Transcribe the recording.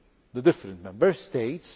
the different Member States.